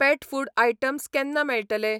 पेट food items केन्ना मेळटले?